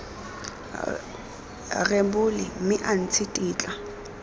rebole mme a ntshe tetla